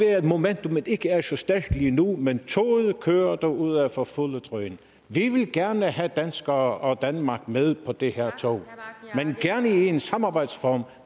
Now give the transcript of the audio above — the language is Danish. at momentummet ikke er så stærkt lige nu men toget kører derudad for fuldt drøn vi vil gerne have danskere og danmark med på det her tog men gerne i en samarbejdsform